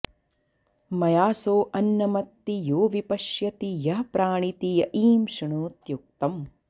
मया सो अन्नमत्ति यो विपश्यति यः प्राणिति य ईं शृणोत्युक्तम्